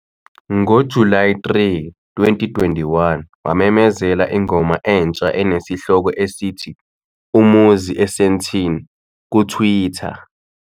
NgoJulayi 3, 2021, wamemezela ingoma entsha enesihloko esithi "Umuzi eSandton" kuTwitter.